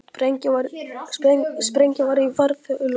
Sprengja var í farþegavél